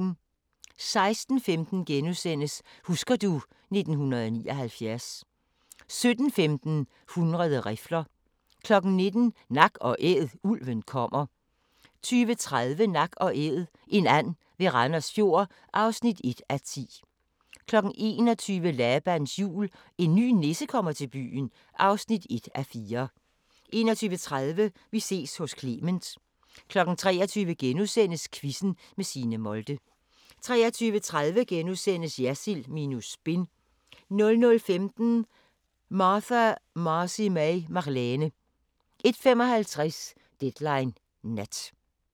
16:15: Husker du ... 1979 * 17:15: 100 rifler 19:00: Nak & Æd: Ulven kommer 20:30: Nak & æd - en and ved Randers Fjord (1:10) 21:00: Labans Jul – En ny nisse kommer til byen (1:4) 21:30: Vi ses hos Clement 23:00: Quizzen med Signe Molde * 23:30: Jersild minus spin * 00:15: Martha Marcy May Marlene 01:55: Deadline Nat